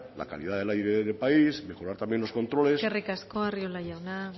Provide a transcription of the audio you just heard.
la calidad del aire del país mejorar también los controles eskerrik asko arriola jauna